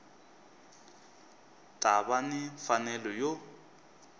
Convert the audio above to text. ta va ni mfanelo yo